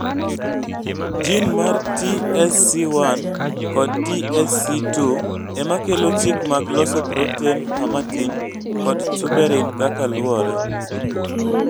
jin mar TSC1 kod TSC2 ema kelo chik mag loso proten harmatin kod tuberin kaka luore